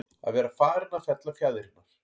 Að vera farinn að fella fjaðrirnar